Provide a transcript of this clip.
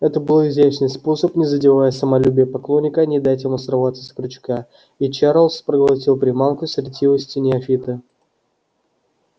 это был изящный способ не задевая самолюбия поклонника не дать ему сорваться с крючка и чарлз проглотил приманку с ретивостью неофита